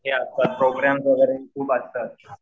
हे आता प्रोग्रॅम्स वगैरे खूप असतात